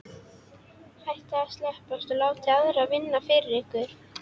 Hættið að slæpast og láta aðra vinna fyrir ykkur.